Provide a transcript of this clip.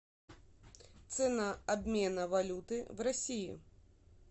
цена обмена валюты в россии